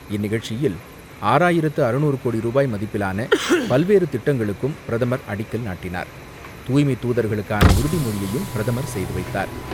இந்நிகழ்ச்சியில், ஆறாயிரத்து அறுநூறு கோடி ரூபாய் மதிப்பிலான பல்வேறு திட்டங்களுக்கும் பிரதமர் அடிக்கல் நாட்டினார். தூய்மை தூதர்களுக்கான உறுதி மொழியையும் பிரதமர் செய்துவைத்தார்.